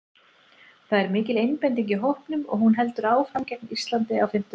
Það er mikil einbeiting í hópnum og hún heldur áfram gegn Íslandi á fimmtudag.